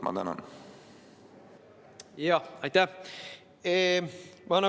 Aitäh!